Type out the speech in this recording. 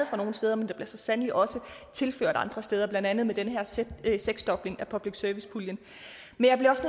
fra nogle steder men der bliver så sandelig også tilført andre steder blandt andet med den her seksdobling af public service puljen men jeg bliver